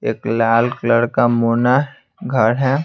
एक लाल कलर का मोना घर है।